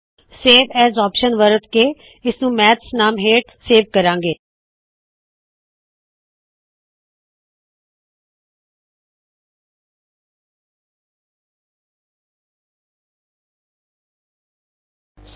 save as option ਵਰਤ ਕੇ ਇਸ ਨੂੰ ਮੈਥਸ ਨਾਮ ਹੇਠ ਸੇਵ ਕਰਾੰ ਗੇ